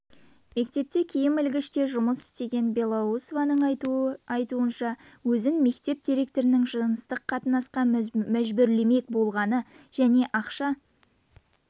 мектепте киім ілгіште жұмыс істеген белоусованың айтуынша өзін мектеп директорының жыныстық қатынасқа мәжбүрлемек болғаны және ақша